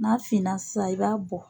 N'a finna sa i b'a bɔ